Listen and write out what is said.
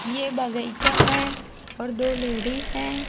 ये बाईगीचा है और दो लेडिस हैं।